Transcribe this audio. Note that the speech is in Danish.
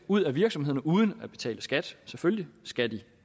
ud af virksomhederne uden at betale skat selvfølgelig skal